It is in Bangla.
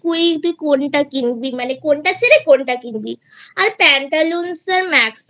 যে তুই কোনটা কিনবি মানে কোনটা ছেড়ে কোনটা কিনবি আর pantaloons এর